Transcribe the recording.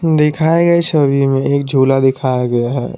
दिखाए गए छवि में एक झूला दिखाया गया है।